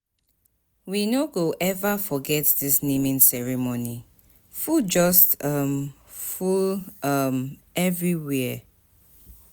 We no go eva forget dis naming ceremony, food just um full um everywhere.